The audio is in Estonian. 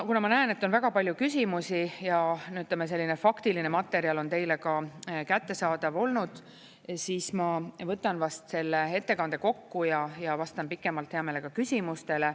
Kuna ma näen, et on väga palju küsimusi ja selline faktiline materjal on teile ka kättesaadav olnud, siis ma võtan vast selle ettekande kokku ja vastan pikemalt hea meelega küsimustele.